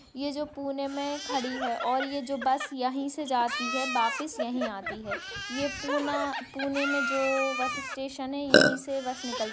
ये जो पुणे मे खड़ी है और ये जो बस यही से जाती है वापस यही आती है ये पुना पुणे मैं जो बस स्टेशन है यही से बस निकल --